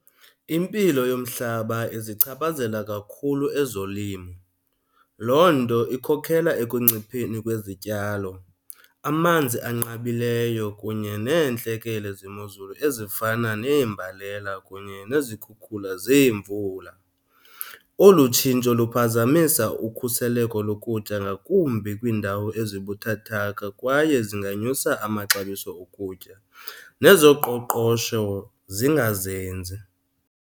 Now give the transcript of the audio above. Impilo yomhlaba izichaphazela kakhulu ezolimo loo nto ikhokela ekuncipheni kwezityalo, amanzi anqabileyo kunye neentlekele zemozulu ezifana neembalela kunye nezikhukhula zeemvula. Olu tshintsho luphazamisa ukhuseleko lokutya, ngakumbi kwiindawo ezibuthathaka, kwaye zinganyusa amaxabiso okutya nezoqoqosho zingazinzi.